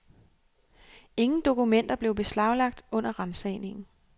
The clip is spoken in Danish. Ingen dokumenter blev beslaglagt under ransagningen.